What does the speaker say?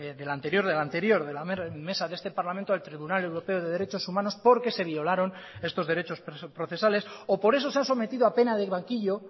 del anterior del anterior de la mesa de este parlamento al tribunal europeo de derechos humanos porque se violaron estos derechos procesales o por eso se ha sometido a pena del banquillo